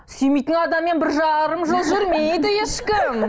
сүймейтін адаммен бір жарым жыл жүрмейді ешкім